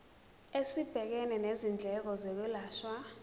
esibhekene nezindleko zokwelashwa